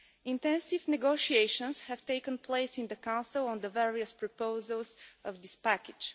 Intensive negotiations have taken place in the Council on the various proposals of this package.